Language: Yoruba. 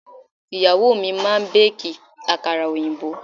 Ìyàwó mi máa bẹ́ẹ̀kì àkàrà òyìnbó.